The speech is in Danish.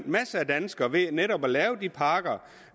masser af danskere ved netop at lave de pakker